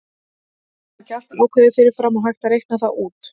Er þá ekki allt ákveðið fyrir fram og hægt að reikna það út?